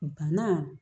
Bana